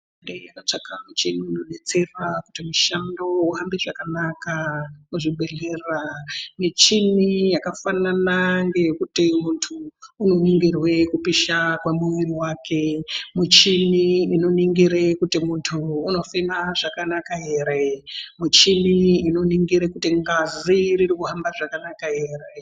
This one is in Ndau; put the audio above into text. Hurumende yakatsva michini dzinodetsera kuti mishando uhambe zvakanaka muzvibhedhlera. Muchini yakafanana ngeye kuti muntu unoningirwe kupisha kwemuviri wake muchini inoningire kuti muntu unofema zvakanaka here, muchini inoningire kuti ngazi irikuhamba zvakanaka here.